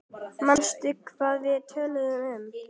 Manstu hvað við töluðum um?